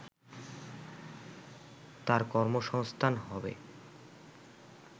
তার কর্মসংস্থান হবে